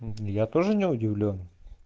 мм я тоже не удивлён